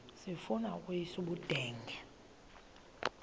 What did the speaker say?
sifuna ukweyis ubudenge